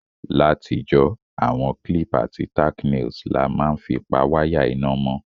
Látijọ́, àwon clip àti tacknails la ma n fi pa wire iná mó